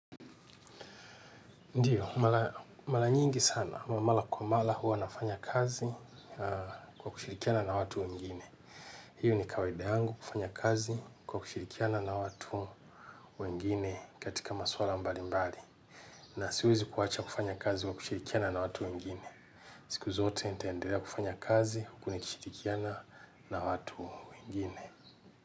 Ndiyo, malanyingi sana, mara kwa mara huwa nafanya kazi kwa kushirikiana na watu wengine. Hio ni kawaida yangu kufanya kazi kwa kushirikiana na watu wengine katika maswala mbali mbali. Na siwezi kuwacha kufanya kazi wa kushirikiana na watu wengine. Siku zote nitaendelea kufanya kazi huku nikishirikiana na watu wengine.